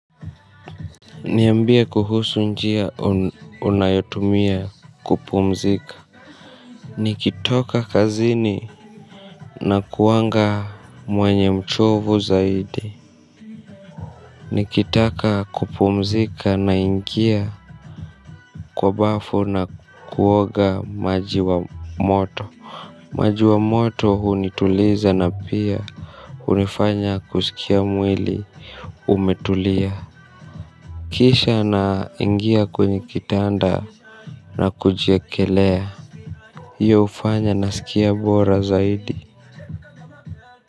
Niyambie kuhusu njia unayotumia kupumzika. Nikitoka kazini. Na kuanga mwenye mchovu zaidi. Nikitaka kupumzika na ingia kwa bafu na kuoga maji wa moto. Maji wa moto hunituliza na pia unifanya kusikia mwili Umetulia. Kisha na ingia kwenye kitanda. Na kujiekelea hiyo hufanya nasikia bora zaidi.